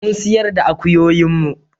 Mun sayar da akuyoyin mu